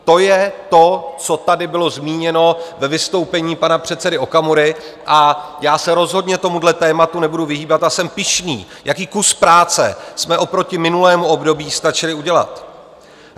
To je to, co tady bylo zmíněno ve vystoupení pana předsedy Okamury, a já se rozhodně tomuhle tématu nebudu vyhýbat a jsem pyšný, jaký kus práce jsme oproti minulému období stačili udělat.